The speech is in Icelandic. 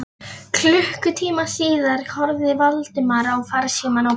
Klukkutíma síðar horfði Valdimar á farsímann á borðs